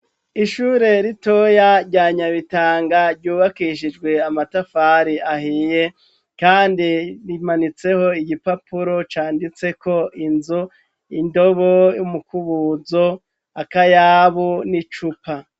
Ishure ritoya ryanyabitanga ryubakishijwe amatafari ahiye, kandi rimanitseho igipapuro canditseko inzo indobo y'umukubuzo akayabu n'i cupa.